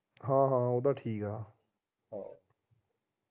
ਹਾਂ ਹਾਂ ਉਹ ਤਾ ਠੀਕ ਆ